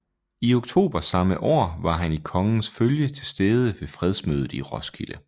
I oktober samme år var han i kongens følge tilstede ved fredsmødet i Roskilde